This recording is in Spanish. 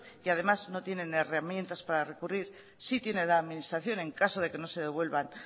que además no tienen herramientas para recurrir sí tiene la administración en caso de que no se devuelvan